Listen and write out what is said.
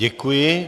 Děkuji.